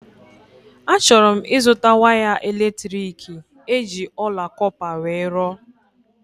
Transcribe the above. A chọrọ m ịzụta waya elektriki eji ọla kọpa wee rụọ